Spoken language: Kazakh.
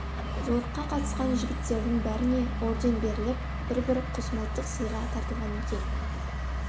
жорыққа қатысқан жігіттердің бәріне орден беріліп бір бір құсмылтық сыйға тартылған екен